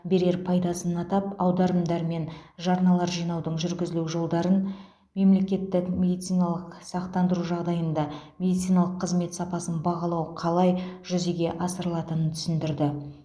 берер пайдасын атап аударымдар мен жарналар жинаудың жүргізілу жолдарын мемлекеттік медициналық сақтандыру жағдайында медициналық қызмет сапасын бағалау қалай жүзеге асырылатынын түсіндірді